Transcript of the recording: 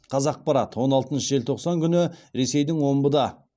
қазақпарат он алтыншы желтоқсан күні ресейдің омбыда